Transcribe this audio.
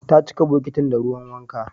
Ta cika bokitin da ruwan wanka